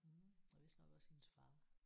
Mh og vist nok også hendes far